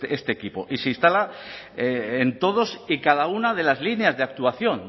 este equipo y se instala en todas y cada una de las líneas de actuación